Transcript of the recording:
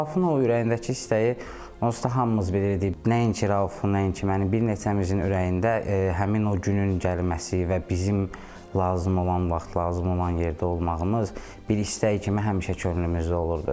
Raufun o ürəyindəki istəyi onsuz da hamımız bilirdik, nəinki Raufun, nəinki mənim, bir neçəmizin ürəyində həmin o günün gəlməsi və bizim lazım olan vaxt, lazım olan yerdə olmağımız bir istək kimi həmişə könlümüzdə olurdu.